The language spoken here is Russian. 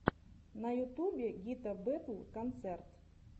на ютубе гита бэтл концерт